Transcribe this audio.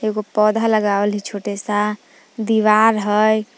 एगो पौधा लगावाल हइ छोटे सा दीवार हइ ।